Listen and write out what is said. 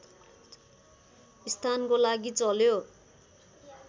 स्थानको लागि चल्यो